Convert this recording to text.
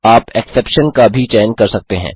आप एक्सेप्शन अपवाद का भी चयन कर सकते हैं